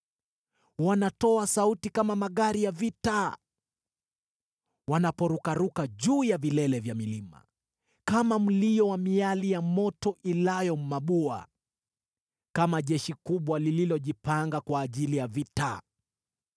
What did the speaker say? Wanatoa sauti kama magari ya vita, wanaporukaruka juu ya vilele vya milima, kama mlio wa miali ya moto ilayo mabua, kama jeshi kubwa lililojipanga kwa ajili ya vita.